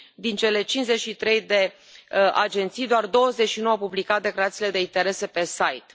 Din cele 53 de agenții, doar 29 au publicat declarațiile de interese pe site.